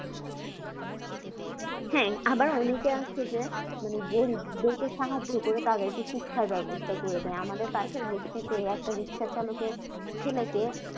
হ্যাঁ আবার ওনাকে আছে যে মানে গরিব দেরকে সাহায্য করে তাদেরকে শিক্ষার ব্যাবস্থা করা দেয় আমাদের পাশের বস্তিতে একটা রিক্সা চালকের ছেলেকে